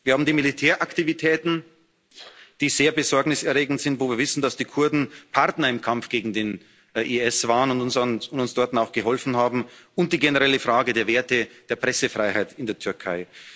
Wir haben die Militäraktivitäten, die sehr besorgniserregend sind, wo wir wissen, dass die Kurden Partner im Kampf gegen den IS waren und uns dort auch geholfen haben, und die generelle Frage der Werte der Pressefreiheit in der Türkei.